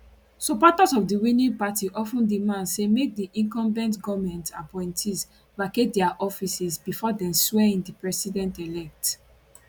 supporters of di winning party of ten demand say make di incumbent goment appointees vacate dia offices bifor dem swear in di presidentelect